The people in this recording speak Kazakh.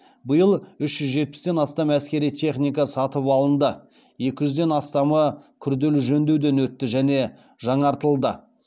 биыл үш жүз жетпістен астам әскери техника сатып алынды екі жүзден астамы күрделі жөндеуден өтті және жаңартылды